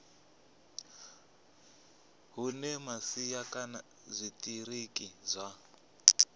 hune masia kana zwitiriki zwa